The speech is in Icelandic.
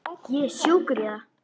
Ég er sjúkur í það!